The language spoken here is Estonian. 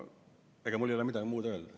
Ega mul ei olegi midagi muud öelda.